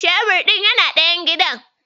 Shebir ɗin yana ɗaya gidan.